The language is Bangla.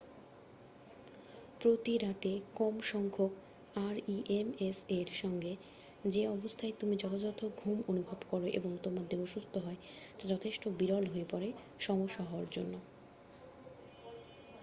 প্রতিরাত্রে কমসংখ্যক rems এর সঙ্গে যে অবস্থায় তুমি যথাযথ ঘুম অনুভব করো এবং তোমার দেহ সুস্থ হয় তা যথেষ্ট বিরল হয়ে পড়ে সমস্যা হওয়ার জন্য